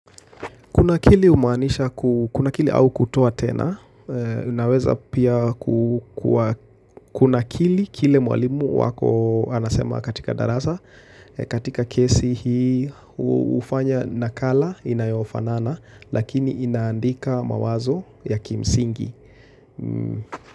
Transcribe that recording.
Kuna kili umanisha, kuna kili au kutoa tena, naweza pia kuna kili kile mwalimu wako anasema katika daraza, katika kesi hii ufanya nakala inayofanana, lakini inaandika mawazo ya kimsingi.